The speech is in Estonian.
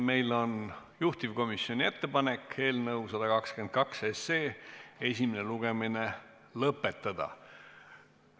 Meil on juhtivkomisjoni ettepanek eelnõu 122 esimene lugemine lõpetada.